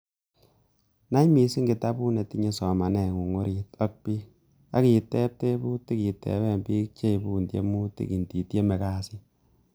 Nai missing kitabut netinye somaneng'ung orit ak bii, ak iteb tebutik iteben biik cheibun theimutik inditieme kasit.